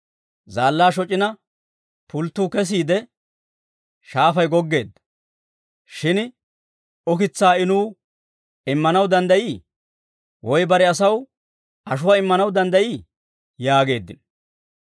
Zaallaa shoc'ina, pulttuu kesiide, shaafay goggeedda; shin ukitsaa I nuw immanaw danddayii? Woy bare asaw ashuwaa immanaw danddayii?» yaageeddino.